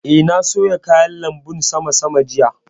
Eh, na soya kayan lanbun sama sama jiya